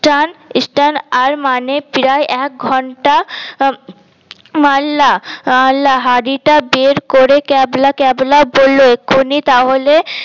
টান স্টান আর মানে প্রায় এক ঘন্টা মারলা মারলা হাড়ি টা বের করে ক্যাবলা ক্যাবলা বলল এক্ষুনি তাহলে